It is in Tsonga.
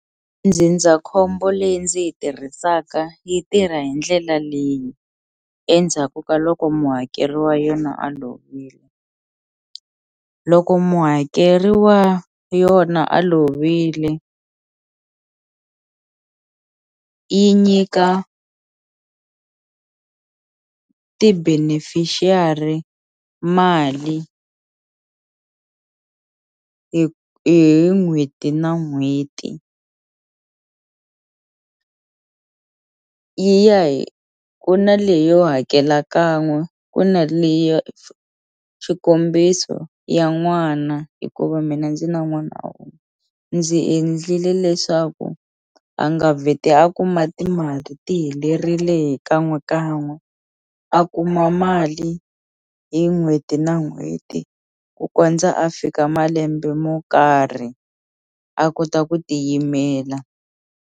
Ndzindzakhombo leyi ndzi yi tirhisaka yi tirha hi ndlela leyi endzhaku ka loko muhakeri wa yona a lovile loko muhakeri wa yona a lovile yi nyika ti-beneficiary mali hi hi n'hweti na n'hweti yi ya ku na leyo hakela kan'we ku na leya xikombiso ya n'wana hikuva mina ndzi na n'wana ndzi endlile leswaku a nga vheti a kuma timali ti helerile hi kan'we kan'we a kuma mali hi n'hweti na n'hweti ku kondza a fika malembe mo karhi a kota ku tiyimela.